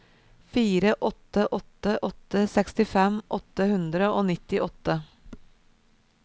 fire åtte åtte åtte sekstifem åtte hundre og nittiåtte